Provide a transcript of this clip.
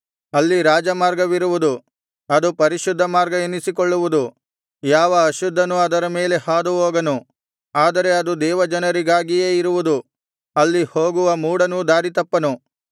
ಅಲ್ಲಿ ರಾಜಮಾರ್ಗವಿರುವುದು ಅದು ಪರಿಶುದ್ಧ ಮಾರ್ಗ ಎನಿಸಿಕೊಳ್ಳುವುದು ಯಾವ ಅಶುದ್ಧನೂ ಅದರ ಮೇಲೆ ಹಾದುಹೋಗನು ಆದರೆ ಅದು ದೇವಜನರಿಗಾಗಿಯೇ ಇರುವುದು ಅಲ್ಲಿ ಹೋಗುವ ಮೂಢನೂ ದಾರಿತಪ್ಪನು